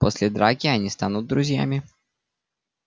после драки они станут друзьями